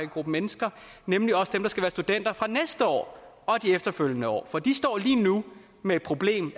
gruppe mennesker nemlig også dem der skal være studenter næste år og de efterfølgende år for de står lige nu med et problem